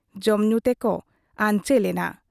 ᱡᱚᱢᱧᱩ ᱛᱮᱠᱚ ᱟᱧᱪᱮᱞ ᱮᱱᱟ ᱾